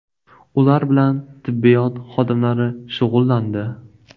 Ular bilan tibbiyot xodimlari shug‘ullandi.